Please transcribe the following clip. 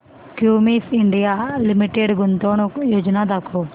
Cummins India limited गुंतवणूक योजना दाखव